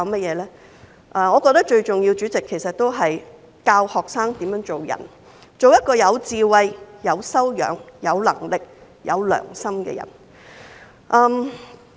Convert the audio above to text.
主席，我覺得最重要是教導學生怎樣做人，做一個有智慧、有修養、有能力、有良心的人。